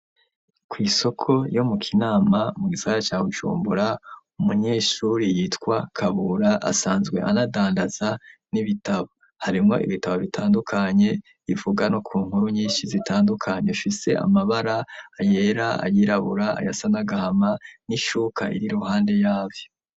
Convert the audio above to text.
Kw'isoko ryo mu Kinama mu gisagara ca Bujumbura, umunyeshure yitwa Kabura asanzwe anadandaza ibitabo. Harimwo n'ibitabo bitandukanye bivuga no ku nkuru nyinshi zitandukanye bifise amabara yera, yirabura asa n'agahama n'ishuka iri iruhande yavyo.